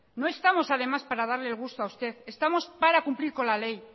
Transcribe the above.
no estamos además para darle el gusto a usted estamos para cumplir con la ley